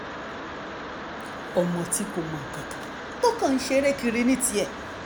ọmọ tí kò mọ nǹkan kan tó kàn ń ṣeré kiri ní tirẹ̀